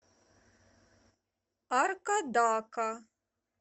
аркадака